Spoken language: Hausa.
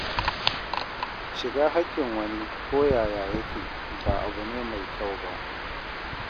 Shiga haƙƙin wani ko yaya yake, ba abu ne mai kyau ba.